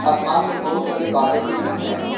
आसमान में बहुत सारे बादल भी दिख रहे हैं।